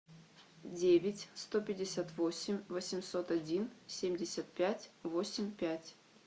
девять сто пятьдесят восемь восемьсот один семьдесят пять восемь пять